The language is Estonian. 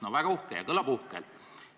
No väga uhke ja kõlab uhkelt.